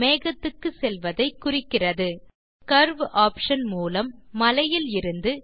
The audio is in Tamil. மேகத்துக்கு செல்வதை குறிக்கிறது இப்போது கர்வ் ஆப்ஷன் மூலம் மலையிலிருந்து